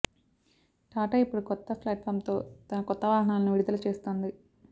టాటా ఇప్పుడు కొత్త ప్లాట్ఫామ్తో తన కొత్త వాహనాలను విడుదల చేస్తోంది